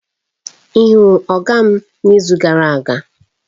Ị hụrụ Oga m n'izu gara aga?